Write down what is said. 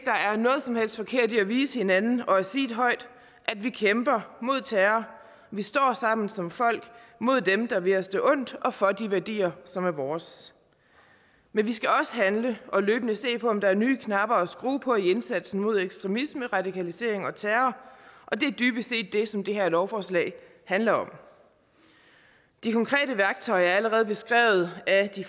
er noget som helst forkert i at vise hinanden og sige højt at vi kæmper mod terror vi står sammen som folk mod dem der vil os det ondt og for de værdier som er vores men vi skal også handle og løbende se på om der er nye knapper at skrue på i indsatsen mod ekstremisme radikalisering og terror og det er dybest set det som det her lovforslag handler om de konkrete værktøjer er allerede beskrevet af de